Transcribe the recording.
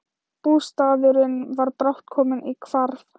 Bústaðurinn var brátt kominn í hvarf.